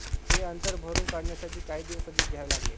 हे अंतर भरून काढण्यासाठी काही दिवस अधिक घ्यावे लागले